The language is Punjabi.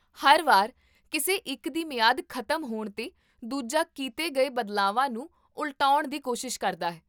ਹਰ ਵਾਰ ਕਿਸੇ ਇੱਕ ਦੀ ਮਿਆਦ ਖ਼ਤਮ ਹੋਣ 'ਤੇ, ਦੂਜਾ ਕੀਤੇ ਗਏ ਬਦਲਾਵਾਂ ਨੂੰ ਉਲਟਾਉਣ ਦੀ ਕੋਸ਼ਿਸ਼ ਕਰਦਾ ਹੈ